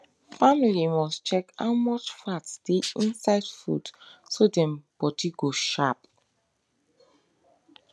family must check how much fat dey inside food so dem body go sharp